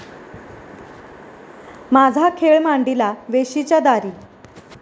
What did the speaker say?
माझा खेळ मांडीला वेशीच्या दारी